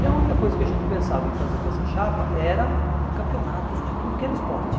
E a única coisa que a gente pensava em fazer com essa chapa era campeonatos de tudo que era esporte.